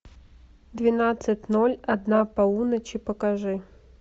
двенадцать ноль одна полуночи покажи